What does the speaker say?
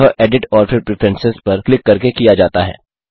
यह एडिट और फिर प्रेफरेंस पर क्लिक करके किया जाता है